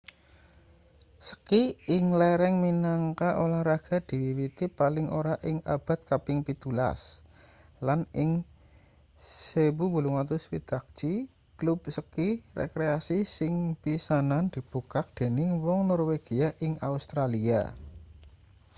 ski ing lereng minangka olahraga diwiwiti paling ora ing abad kaping 17 lan ing 1861 klub ski rekreasi sing pisanan dibukak dening wong norwegia ing australia